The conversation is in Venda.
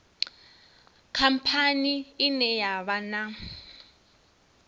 khamphani ine ya vha na